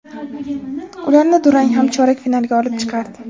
Ularni durang ham chorak finalga olib chiqardi.